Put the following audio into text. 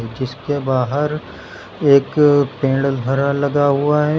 जिस के बाहर एक पेड़ हरा लगा हुआ है।